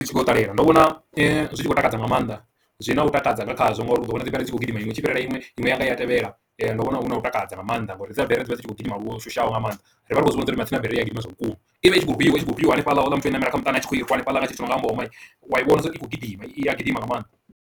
Zwi tshi kho ṱalela ndo vhona zwi tshi khou takadza nga maanḓa zwi no takadza nga khazwo ngauri u ḓo wana dziberi ri tshi khou gidima iṅwe tshi fhirela iṅwe ine yanga i a tevhela ndo vhona hu na u takadza nga maanḓa ngori dziberi dzivha dzi tshi khou gidima lushushaho nga maanḓa ri vha ri khou zwi vhona zwori matsina mvelele ya gidima zwavhukuma ivha i tshi khou fhiwa itshi kho fhiwa hanefhaḽa houḽa muthu o namela kha muṱani atshi kho i hanefhaḽa nga tshithu nga ha muṱhogomeli wa wana uri i khou gidima i a gidima nga maanḓa